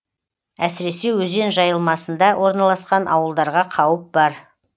әсіресе өзен жайылмасында орналасқан ауылдарға қауіп бар